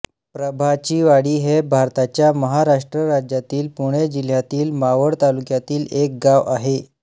प्रभाचीवाडी हे भारताच्या महाराष्ट्र राज्यातील पुणे जिल्ह्यातील मावळ तालुक्यातील एक गाव आहे